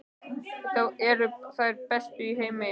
Þetta eru þær bestu í heimi!